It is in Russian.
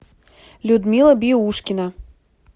людмила биушкина